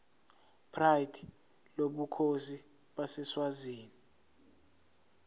pride lobukhosi baseswazini